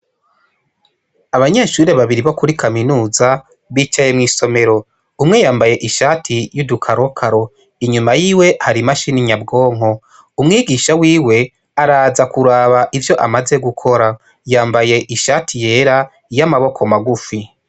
Abanyeshuri babiri bo kuri kaminuza bicaye mw'isomero umwe yambaye ishati y'udukarokaro inyuma yiwe hari imashininyabwonko umwigisha wiwe araza kuraba ivyo amaze gukora yambaye ishati yera iyo amaboko magufi.